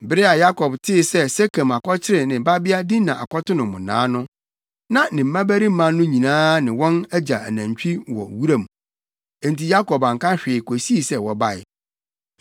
Bere a Yakob tee sɛ Sekem akɔkyere ne babea Dina akɔto no mmonnaa no, na ne mmabarima no nyinaa ne wɔn agya anantwi wɔ wuram. Enti Yakob anka hwee kosii sɛ wɔbae.